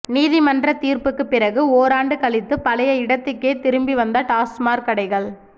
நீதிமன்ற தீர்ப்புக்கு பிறகு ஓராண்டு கழித்து பழைய இடத்துக்கே திரும்பி வந்த டாஸ்மாக் கடைகள்